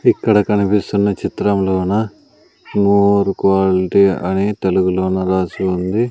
ఇక్కడ కనిపిస్తున్న చిత్రం లోన ఓవర్ క్వాలిటీ అని తెలుగులోన రాసి ఉంది.